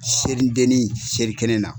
Seli deni seli kɛnɛ na.